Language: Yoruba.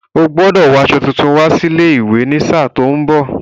Ó gbọ́dọ̀ wo aṣọ tuntun wá sí ilé-ìwé ní sáà tí ó ń bọ̀.